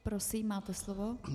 Prosím, máte slovo.